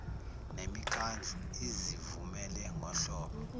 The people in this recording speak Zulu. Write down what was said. nemikhandlu izivumele ngohlobo